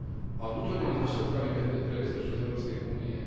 a vnútornými dôsledkami pre bezpečnosť Európskej únie.